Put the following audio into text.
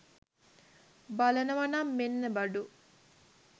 බලනව නම් මෙන්න බඩු.